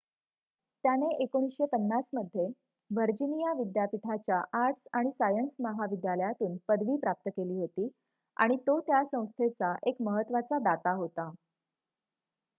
त्याने १९५० मध्ये व्हर्जिनिया विद्यापीठाच्या आर्ट्स आणि सायन्य महाविद्यालयातून पदवी प्राप्त केली होती आणि तो त्या संस्थेचा एक महत्त्वाचा दाता होता